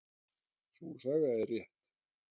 Sú saga er rétt.